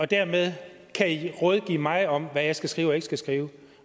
dermed kan rådgive mig om hvad jeg skal skrive og ikke skal skrive